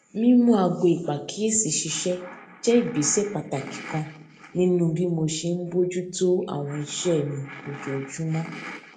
mímú aago ìpàkíyèsí ṣiṣé jé ìgbésè pàtàkì kan nínú bí mo ṣe ń bójú tó àwọn iṣé mi ojoojúmó